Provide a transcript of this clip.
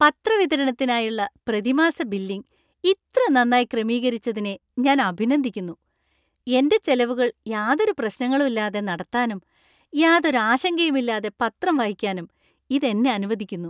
പത്ര വിതരണത്തിനായുള്ള പ്രതിമാസ ബില്ലിംഗ് ഇത്ര നന്നായി ക്രമീകരിച്ചിരിച്ചതിനെ ഞാൻ അഭിനന്ദിക്കുന്നു. എന്‍റെ ചെലവുകൾ യാതൊരു പ്രശ്നങ്ങളും ഇല്ലാതെ നടത്താനും യാതൊരു ആശങ്കയുമില്ലാതെ പത്രം വായിക്കാനും ഇത് എന്നെ അനുവദിക്കുന്നു.